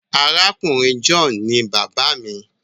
Àrákùnrin John ní bàbá mí.